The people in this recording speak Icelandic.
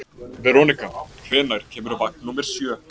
Veronika, hvenær kemur vagn númer sjö?